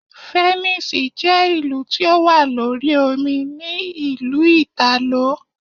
Fẹ̀nísìì je ìlú tí ó wà lórí omi ní ìlú Ìtàló.